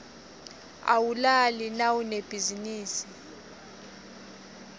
awulali nawunebhizinisi